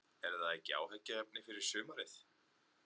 Er það ekki áhyggjuefni fyrir sumarið?